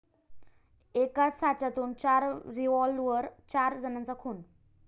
एकाच साच्यातून चार रिव्हॉल्वर?, चार जणांचा खून